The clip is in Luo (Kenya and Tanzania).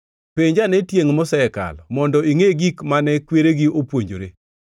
“Penj ane tiengʼ mosekalo mondo ingʼe gik mane kweregi opuonjore,